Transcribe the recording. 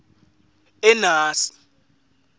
enasi